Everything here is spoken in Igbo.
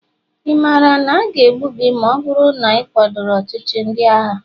ị maara na aga egbu gị ma ọ bụrụ na ị kwadoro ọchịchị ndị agha?